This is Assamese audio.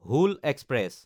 হুল এক্সপ্ৰেছ